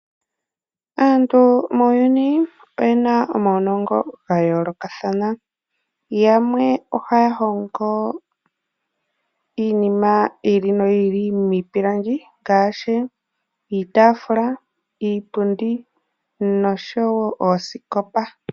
Aantu muuyuni oyena omaunongo gayoolokathana yamwe ohaya hongo iinima yi ili noyi ili miipilangi ngaashi iitafula, iipundi nosho wo oosikopa.